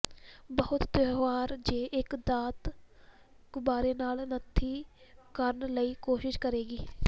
ਬਹੁਤ ਤਿਉਹਾਰ ਜੇ ਇੱਕ ਦਾਤ ਗੁਬਾਰੇ ਨਾਲ ਨੱਥੀ ਕਰਨ ਲਈ ਕੋਸ਼ਿਸ਼ ਕਰੇਗੀ